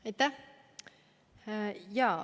Aitäh!